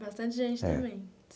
Bastante gente também.